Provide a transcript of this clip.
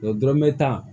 Dɔrɔmɛ tan